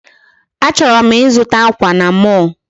Achọrọ m ịzụta akwa na mall